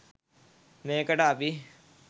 මේකට අපි